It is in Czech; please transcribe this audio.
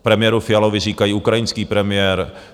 Premiéru Fialovi říkají ukrajinský premiér.